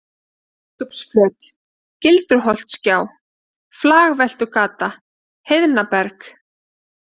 Biskupsflöt, Gildruholtsgjá, Flagveltugata, Heiðnaberg